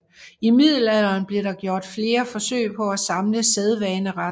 I middelalderen blev der gjort flere forsøg på at samle sædvaneretten